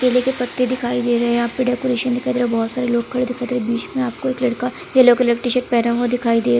केले के पत्ती दिखाई दे रहे है यहाँ पे डेकोरेशन दिखाई दे रहा है बहुत सारे लोग खड़े दिखाई दे रहे है बीच मे एक लड़का येलो कलर के शर्ट पहने दिखाई दे --